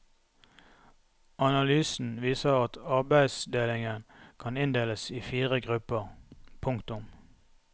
Analysen viser at arbeidsdelingen kan inndeles i fire grupper. punktum